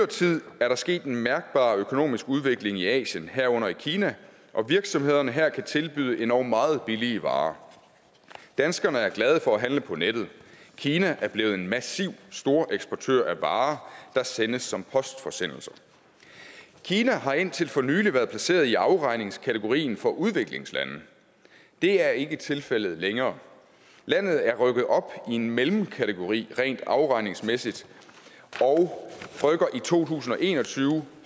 tid er der sket en mærkbar økonomisk udvikling i asien herunder i kina og virksomhederne her kan tilbyde endog meget billige varer danskerne er glade for at handle på nettet kina er blevet en massiv storeksportør af varer der sendes som postforsendelser kina har indtil for nylig været placeret i afregningskategorien for udviklingslande det er ikke tilfældet længere landet er rykket op i en mellemkategori rent afregningsmæssigt og rykker i to tusind og en og tyve